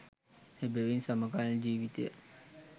එවැවින් සමකාලීන ජීවිතය